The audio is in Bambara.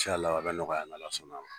a bɛ nɔgɔya n'Ala sɔnna